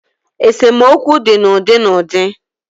Esomokwu di na udi na udi